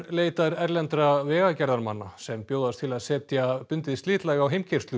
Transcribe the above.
leitar erlendra vegagerðarmanna sem bjóðast til að setja bundið slitlag á